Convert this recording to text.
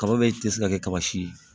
Kaba bɛ tɛ se ka kɛ kaba si ye